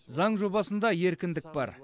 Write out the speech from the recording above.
заң жобасында еркіндік бар